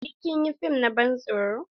Sai kin yi fim na ban tsoron!